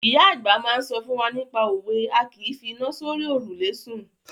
Ìyá àgbà máa ń sọ fún wa nípa òwe "A kìí fi iná sórí òrùlé sùn".